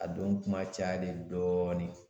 A don kuma cayalen dɔɔni.